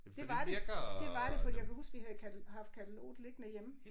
Det var det det var det fordi jeg kan huske vi havde katte haft kataloget liggende hjemme